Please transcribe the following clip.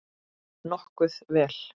Nokkuð vel.